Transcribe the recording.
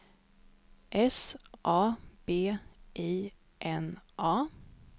S A B I N A